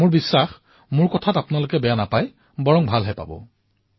মোৰ বিশ্বাস যে মোৰ কথা আপোনালোকৰ বেয়া লগা নাই নিশ্চয় ভাল লাগিব